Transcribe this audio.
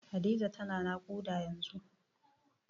Hadiza tana naƙuda yanzun.